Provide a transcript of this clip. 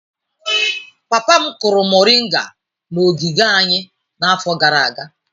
Papa m kụrụ moringa n'ogige anyị n'afọ gara aga.